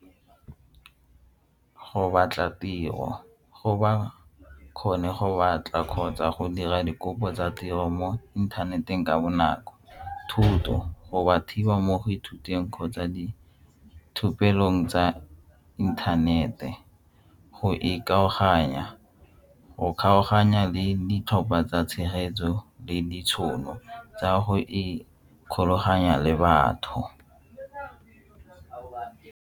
Go batla tiro go ba kgone go batla kgotsa go dira dikopo tsa tiro mo inthaneteng ka bonako, thuto go ba thiba mo go ithuteng kgotsa tsa inthanete go ikgokaganya, go kgaoganya le ditlhopha tsa tshegetso le ditšhono tsa go ikgolaganya le batho.